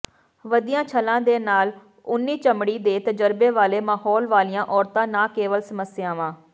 ਵਧੀਆਂ ਛੱਲਾਂ ਦੇ ਨਾਲ ਓਨੀ ਚਮੜੀ ਦੇ ਤਜਰਬੇ ਵਾਲੇ ਮਾਹੌਲ ਵਾਲੀਆਂ ਔਰਤਾਂ ਨਾ ਕੇਵਲ ਸਮੱਸਿਆਵਾਂ